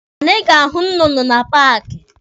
Anyị ga-ahụ nnụnụ na paaki.